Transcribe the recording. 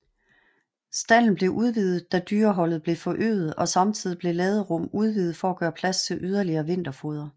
Stalden blev udvidet da dyreholdet blev forøget og samtidig blev laderum udvidet for at gøre plads til yderligere vinterfoder